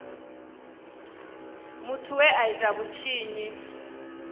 muthu we a ita vhutshinyi